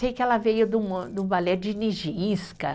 Sei que ela veio de um, de um balé de Nijinska